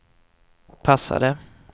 passade